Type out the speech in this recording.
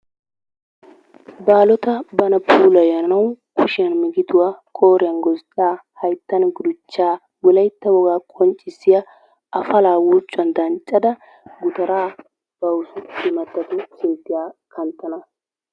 Baalota bana puullayanawu kushiyan migiduwa qooriyan gozddaa hayttan gutuchchaa wolaytta wogaa qonccissiya afallaa urccuwan danccada gutaraa bawu immatattu sinti attanawu.